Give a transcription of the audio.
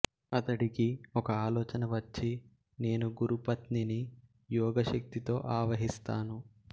అతడికి ఒక ఆలోచన వచ్చి నేను గురు పత్నిని యోగశక్తితో ఆవహిస్తాను